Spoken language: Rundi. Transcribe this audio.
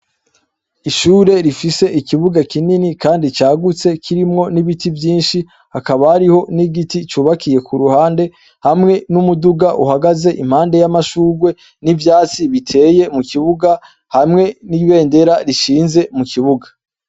Ishure rifise ikibuga kinini kandi cagutse kirimwo n'ibiti vyinshi. Hakaba hariho n'igiti cubakiye ku ruhande, hamwe n'umuduga uhagaze impande y'amashurwe, n'ivyatsi biteye mu kibuga, hamwe n'ibendera rishinze mu kibuga.